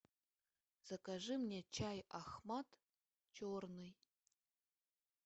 закажи мне чай ахмат черный